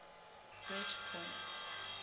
bridgepoint